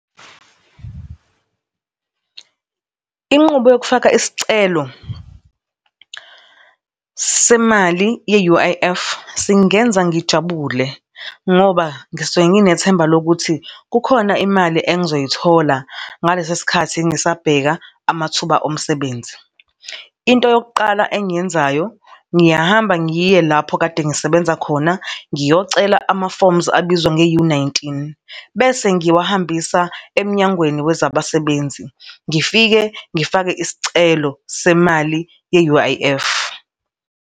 Inqubo yokufaka isicelo semali ye-U_I_F singenza ngijabule ngoba ngisuke nginethemba lokuthi kukhona imali engizoyithola ngalesa sikhathi ngisabheka amathuba omsebenzi. Into yokuqala engiyenzayo, ngiyahamba ngiye lapho kade ngisebenza khona, ngiyocela ama-forms abizwa nge-U nineteen bese ngiwahambisa eMnyangweni weZabasebenzi, ngifike ngifake isicelo semali ye-U_I_F.